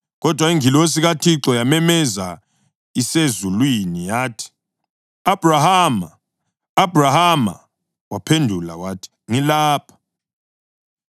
Kodwa ingilosi kaThixo yamemeza isezulwini yathi, “Abhrahama! Abhrahama!” Waphendula wathi, “Ngilapha.”